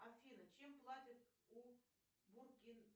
афина чем платят у